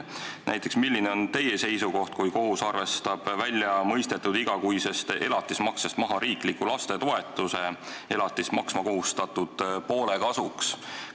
Milline on teie seisukoht näiteks selle suhtes, kui kohus arvestab väljamõistetud igakuisest elatismaksest maha riikliku lastetoetuse elatist maksma kohustatud poole kasuks?